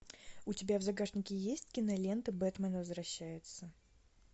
у тебя в загашнике есть кинолента бэтмен возвращается